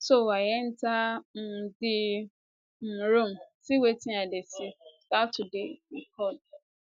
so i enta um di um room see wetin i dey see start to dey record